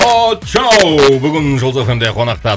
очоу бүгін жұлдыз эф эм де қонақта